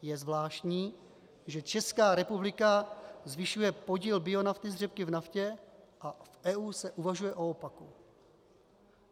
Je zvláštní, že Česká republika zvyšuje podíl bionafty z řepky v naftě, a v EU se uvažuje o opaku.